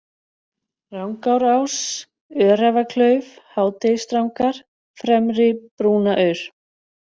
Rangárás, Öræfaklauf, Hádegisdrangar, Fremri-Brúnaaur